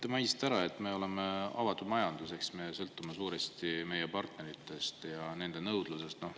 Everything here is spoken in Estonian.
Te mainisite, et me oleme avatud majandusega ehk sõltume suuresti oma partneritest ja nende nõudlusest.